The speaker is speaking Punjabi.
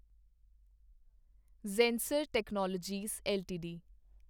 Zensar technologies LTD